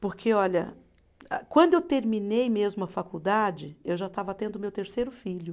Porque, olha a, quando eu terminei mesmo a faculdade, eu já estava tendo meu terceiro filho.